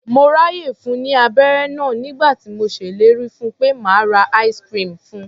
Mo ráàyè fun ní abẹ́ré náà nígbà tí mo ṣellérí fun pé màá ra ice-cream fun.